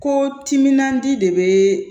Ko timinan di de be